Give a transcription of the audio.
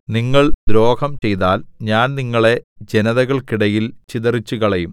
നിങ്ങൾ ദ്രോഹം ചെയ്താൽ ഞാൻ നിങ്ങളെ ജനതകൾക്കിടയിൽ ഇടയിൽ ചിതറിച്ചുകളയും